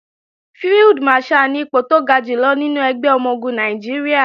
Field Marshal ni ipò tó ga jùlọ nínú ẹgbẹ́ ọmọ-ogun Nàìjíríà